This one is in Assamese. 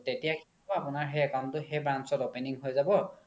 তেতিয়া কি হ্'ব আপোনাৰ সেই account তো সেই branch ত opening হয় যাব